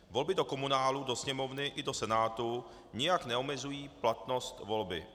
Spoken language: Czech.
Volby do komunálu, do Sněmovny i do Senátu nijak neomezují platnost volby.